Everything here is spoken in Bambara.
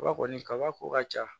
Kaba kɔni kabako ka ca